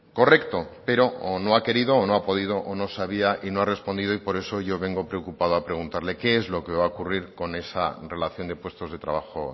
correcto pero o no ha querido o no ha podido o no sabía y no ha respondido por eso yo vengo preocupado a preguntarle qué es lo que va a ocurrir con esa relación de puestos de trabajo